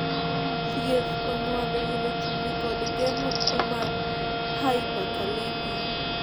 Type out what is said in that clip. thieth onywando wilo chumbi kod geng'o tuo mar hyperkalemia